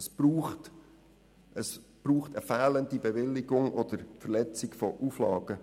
Es braucht eine fehlende Bewilligung oder eine Verletzung von Auflagen.